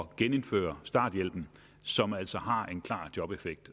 genindføre starthjælpen som altså har en klar jobeffekt